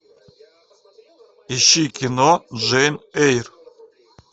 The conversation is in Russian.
ищи кино джейн эйр